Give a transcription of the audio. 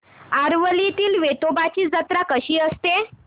आरवलीतील वेतोबाची जत्रा कशी असते